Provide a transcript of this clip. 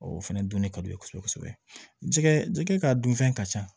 O fɛnɛ dun de ka d'u ye kosɛbɛ kosɛbɛ ka dun fɛn ka ca